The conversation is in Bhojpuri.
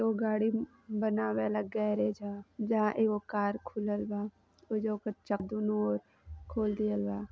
इ गाड़ी बनावेला गैरेज ह जहां एगो कार खुलल बा ओइजा ओकर च दुनो ओर खोल दिहले बा।